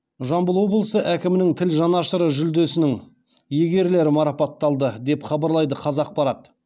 жамбыл облысы әкімінің тіл жанашыры жүлдесінің иегерлері марапатталды деп хабарлайды қазақпарат